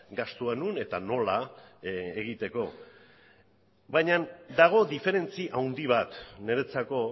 gastua non eta nola egiteko baina dago diferentzi handi bat niretzako